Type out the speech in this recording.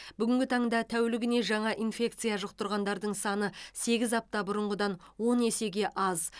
бүгінгі таңда тәулігіне жаңа инфекция жұқтырғандардың саны сегіз апта бұрынғыдан он есеге аз